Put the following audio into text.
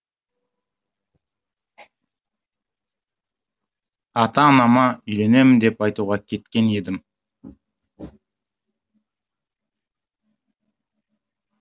ата анама үйленемін деп айтуға кеткен едім